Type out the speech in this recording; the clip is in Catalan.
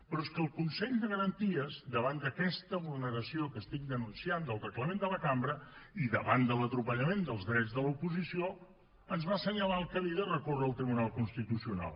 però és que el consell de garanties davant d’aquesta vulneració que estic denunciant del reglament de la cambra i davant de l’atropellament dels drets de l’oposició ens va assenyalar el camí de recórrer al tribunal constitucional